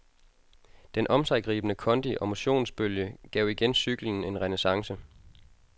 Den omsiggribende kondi og motionsbølge gav igen cyklen en renæssance.